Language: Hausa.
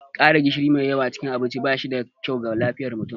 ƙara gishiri mai yawa cikin abinci ba shi da kyau ga lafiyar mutum